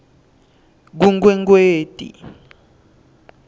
kunkwekweti